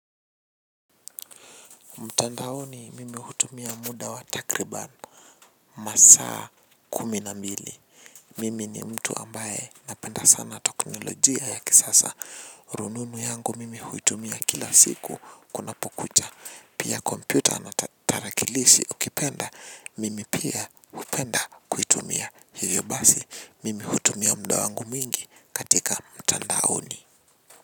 Mtandaoni mimi hutumia muda wa takriban masaa kumi na mbili. Mimi ni mtu ambaye napenda sana teknolojia ya kisasa rununu yangu mimi hutumia kila siku kunapo kucha. Pia kompyuta na tarakilishi ukipenda mimi pia hupenda kuitumia hivyo basi mimi hutumia muda wangu mwingi katika mtandaoni.